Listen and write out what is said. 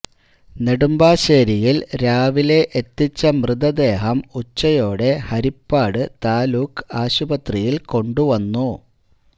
നെടുമ്പാശ്ശേരിയിൽ രാവിലെ എത്തിച്ച മൃതദേഹം ഉച്ചയോടെ ഹരിപ്പാട് താലൂക്ക് ആശുപത്രിയിൽ കൊണ്ടുവന്നു